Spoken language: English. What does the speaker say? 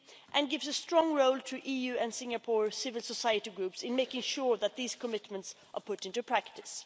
and gives a strong role to EU and Singapore civil society groups in making sure that these commitments are put into practice.